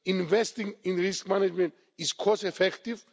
Investing in risk management is cost effective